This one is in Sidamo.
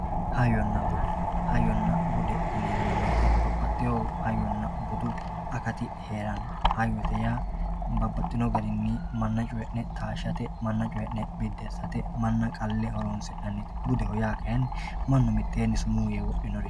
hayyonna bude hayyonna bude yineemmo woyiite babbaxxewoo hayyonna bude akati heeranno hayyote yaa babbaxxino garinni manna coyii'ne taashshate manna coyii'ne biddi assate manna qalle horoonsi'nannite budeho yaa kayiinni mannu mittee sumuu yee wodhinorichooti.